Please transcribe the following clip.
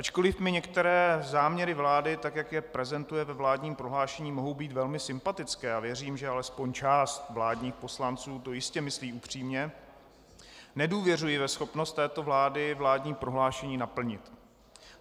Ačkoliv mi některé záměry vlády, tak jak je prezentuje ve vládním prohlášení, mohou být velmi sympatické a věřím, že alespoň část vládních poslanců to jistě myslí upřímně, nedůvěřuji ve schopnost této vlády vládní prohlášení naplnit.